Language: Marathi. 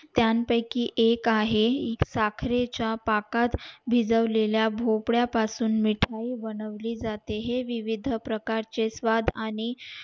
त्यानं पयकी एक आहे साखरे च्या पाक पाकात भिजवलेला भोपळा पासून मिठाई बनवली जाते हे विविध प्रकारचे स्वाद आणि